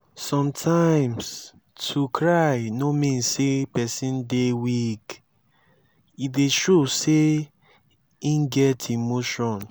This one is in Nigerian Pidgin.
sometimes to cry no mean say person dey weak e dey show sey im get emotion